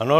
Ano.